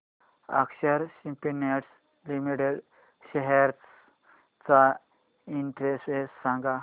अक्षर Spintex limited shares चा index सांगा